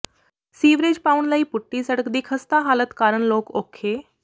sewerage ਪਾਉਣ ਲਈ ਪੁੱਟੀ ਸੜਕ ਦੀ ਖਸਤਾ ਹਾਲਤ ਕਾਰਨ ਲੋਕ ਔਖੇ